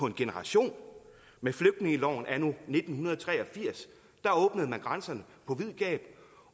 en generation med flygtningeloven anno nitten tre og firs der åbnede man grænserne på vid gab